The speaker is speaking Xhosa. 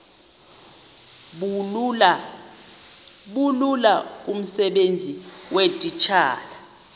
bulula kumsebenzi weetitshala